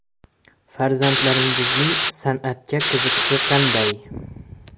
- Farzandlaringizning san’atga qiziqishi qanday?